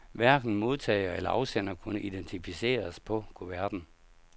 Hverken modtager eller afsender kunne identificeres på kuverten.